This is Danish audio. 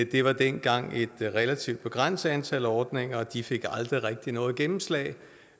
det var dengang et relativt begrænset antal ordninger og de fik aldrig rigtig noget gennemslag